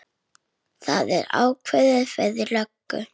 Það var ákveðið fyrir löngu.